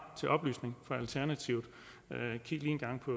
til oplysning for alternativet kig lige en gang på